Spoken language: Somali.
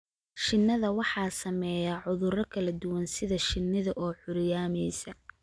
Shinnida waxaa saameeya cuduro kala duwan sida shinnida oo curyaamisa.